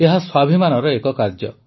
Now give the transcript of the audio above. ଏହା ସ୍ୱାଭିମାନର ଏକ କାର୍ଯ୍ୟ